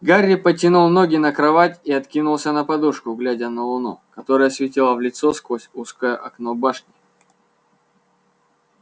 гарри потянул ноги на кровать и откинулся на подушку глядя на луну которая светила в лицо сквозь узкое окно башни